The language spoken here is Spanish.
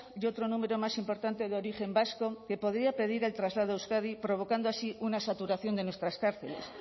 y otro número más importante de origen vasco que podría pedir el traslado a euskadi provocando así una saturación de nuestras cárceles